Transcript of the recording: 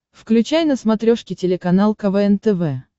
включай на смотрешке телеканал квн тв